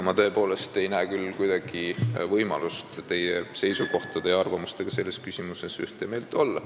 Ma tõepoolest ei näe mingit võimalust selles küsimuses teie seisukohtade ja arvamustega ühte meelt olla.